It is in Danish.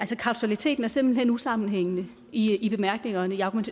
kausaliteten er simpelt hen usammenhængende i i bemærkningerne